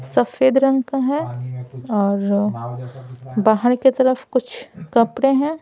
सफेद रंग का है और बाहर के तरफ कुछ कपड़े है।